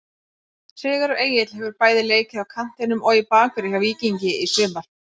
Sigurður Egill hefur bæði leikið á kantinum og í bakverði hjá Víkingi í sumar.